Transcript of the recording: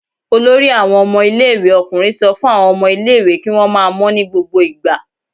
Olórí àwọn ọmọ ilé-ìwé ọkùnrin sọ fún àwọn ọmọ ilé-ìwé kí wọ́n máa mọ́ ní gbogbo ìgbà.